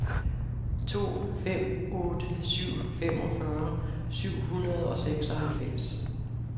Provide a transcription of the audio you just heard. to fem otte syv femogfyrre syv hundrede og seksoghalvfems